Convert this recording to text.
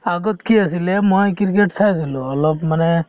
আগত কি অছিলে ,মই ক্ৰিকেট চাইছিলো অলপ মানে